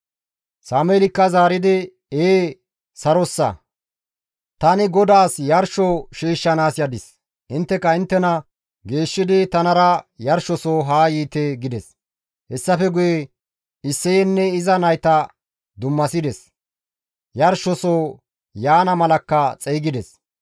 Sameelikka zaaridi, «Ee sarossa; tani GODAAS yarsho shiishshanaas yadis; intteka inttena geeshshidi tanara yarshosoho haa yiite» gides. Hessafe guye Isseyenne iza nayta dummasides; yarshosoho yaana malakka xeygides.